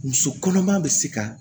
Muso kɔnɔma bɛ se ka